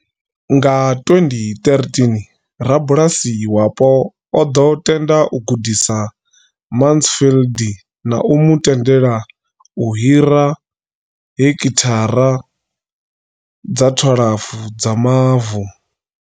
Nga 2013, rabulasi wapo o ḓo tenda u gudisa Mansfield na u mu tendela u hira heki thara dza 12 dza mavu.